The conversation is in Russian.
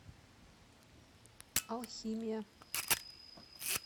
алхимия